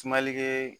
Sumalikɛ